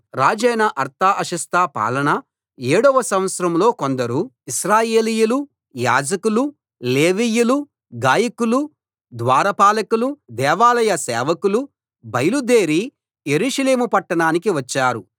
రాజైన అర్తహషస్త పాలన ఏడో సంవత్సరంలో కొందరు ఇశ్రాయేలీయులు యాజకులు లేవీయులు గాయకులు ద్వార పాలకులు దేవాలయ సేవకులు బయలుదేరి యెరూషలేము పట్టణానికి వచ్చారు